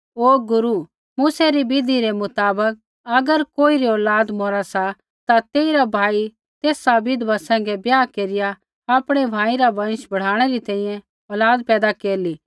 ओ गुरू मूसै री विधि रै मुताबक अगर कोईरी औलाद मौरा सा ता तेइरा भाई तेसा विधवा सैंघै ब्याह केरिया आपणै भाई रा वँश बढ़ाणै री तैंईंयैं औलाद पैदा केरला